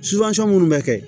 minnu bɛ kɛ